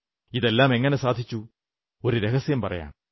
ഇതെല്ലാം എങ്ങനെ സാധിച്ചു ഒരു രഹസ്യം പറയാം